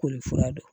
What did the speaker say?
Koli fura dɔn